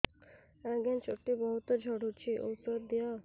ଆଜ୍ଞା ଚୁଟି ବହୁତ୍ ଝଡୁଚି ଔଷଧ ଦିଅ